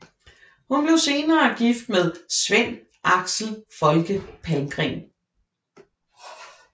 Hun blev senere gift med Sven Axel Folke Palmgren